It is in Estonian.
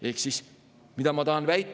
Ehk siis mida ma tahan väita?